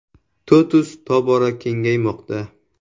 TOTUS tobora kengaymoqda.